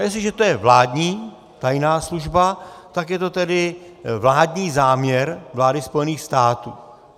A jestliže je to vládní tajná služba, tak je to tedy vládní záměr vlády Spojených států.